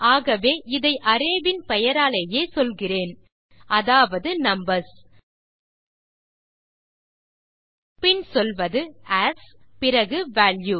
ஆகவே இதை அரே இன் பெயராலேயே சொல்லுகிறேன் அதாவது நம்பர்ஸ் பின் சொல்வது ஏஎஸ் பிறகு வால்யூ